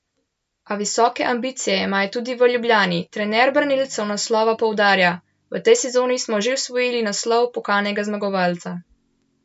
A visoke ambicije imajo tudi v Ljubljani Trener branilcev naslova poudarja: "V tej sezoni smo že osvojili naslov pokalnega zmagovalca.